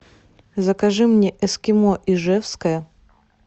закажи мне эскимо ижевское